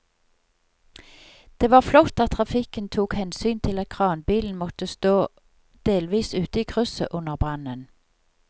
Det var flott at trafikken tok hensyn til at kranbilen måtte stå delvis ute i krysset under brannen.